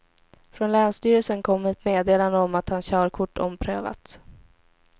Från länsstyrelsen kom ett meddelande om att hans körkort omprövats.